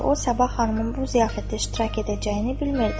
O Sabah xanımın bu ziyafətdə iştirak edəcəyini bilmirdi.